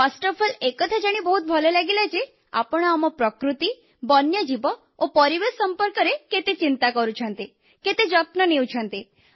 ପ୍ରଥମତଃ ଏକଥା ଜାଣି ବହୁତ ଭଲ ଲାଗିଲା ଯେ ଆପଣ ଆମ ପ୍ରକୃତି ବନ୍ୟଜୀବ ଓ ପରିବେଶ ସମ୍ପର୍କରେ କେତେ ଚିନ୍ତା କରୁଛନ୍ତି କେତେ ଯତ୍ନ ନେଉଛନ୍ତି